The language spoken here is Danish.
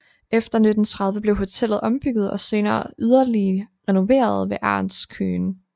Efter 1930 blev hotellet ombygget og senere yderligere renoveret ved Ernst Kühn